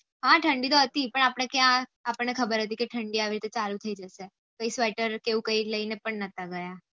હા ઠંડી તો હતી પણ આપળે ત્યાં આપણ ને ખબર હતી કે ઠંડી આવી રીતે ચાલુ થઇ જાતે પછી sweater કે કઈ લઇ ને પણ નથા ગયા